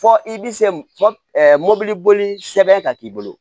Fɔ i bi se mɔbili boli sɛbɛn ka k'i bolo